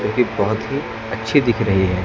जोकि बहोत ही अच्छी दिख रही है।